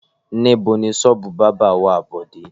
Níbo ni ṣọ́ọ́bù bábà wà Bọ̀dé?